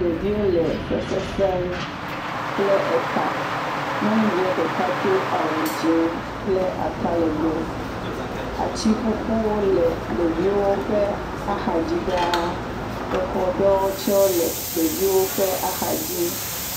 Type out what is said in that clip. Ɖeviwo le fefefem kple eka. Nyɔnuvia ɖeka do awu dzi kple atalegbe. Atiƒuƒuwo le ɖeviwo ƒe axadzi ɖaa. Exɔ aɖewo tse le ɖeviwo ƒe axa dzi.